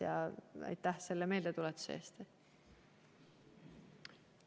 Aga aitäh selle meeldetuletamise eest!